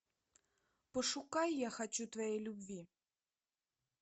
пошукай я хочу твоей любви